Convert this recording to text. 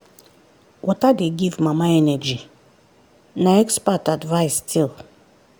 water dey give mama energy na expert advice still.